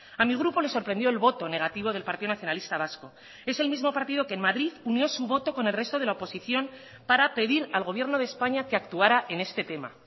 a mi grupo le sorprendió el voto negativo del partido nacionalista vasco es el mismo partido que en madrid unió su voto con el resto de la oposición para pedir al gobierno de españa que actuara en este tema